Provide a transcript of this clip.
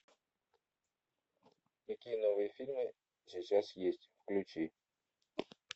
какие новые фильмы сейчас есть включи